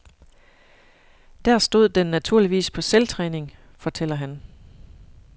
Der stod den naturligvis på selvtræning, fortæller han.